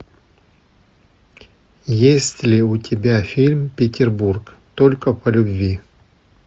есть ли у тебя фильм петербург только по любви